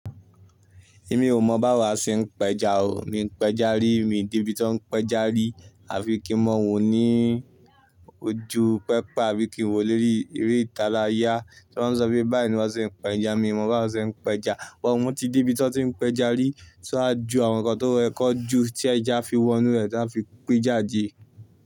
Èmi ò mọ̀ báwo a ṣe ń péja o. Mi ò ń péja rí, mi dé ibi tó ń péja rí àfi kí mọ́ wó ní ojú pẹpà àbí kí n wo lé rí eré ìtala yá. Tí wọ́n ń sọ pé báyìí ni wọ́n ṣe ń péja, mi ò mọ̀ báwo a ṣe ń péja. Wọn mú ti di ibi tí wọ́n ti ń péja rí, ṣọ́ a ju àwọn nǹkan tó rẹkọ jù tí ẹja fi wọnú rẹ̀ tí wọ́n fi pẹ́ jáde.